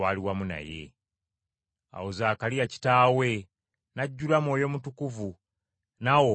Awo Zaakaliya kitaawe, n’ajjula Mwoyo Mutukuvu n’awa obunnabbi nti,